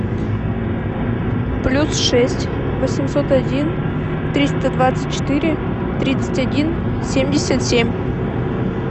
плюс шесть восемьсот один триста двадцать четыре тридцать один семьдесят семь